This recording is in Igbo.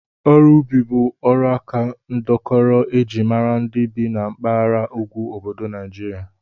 Ọrụ ubi bụ ọrụaka ndọkọrọ e ji mara ndị bi na mpaghara ugwu obodo Naijiria